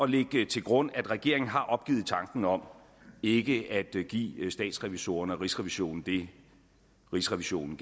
lægge til grund at regeringen har opgivet tanken om ikke at give statsrevisorerne og rigsrevisionen det rigsrevisionen